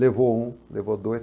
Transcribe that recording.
Levou um, levou dois.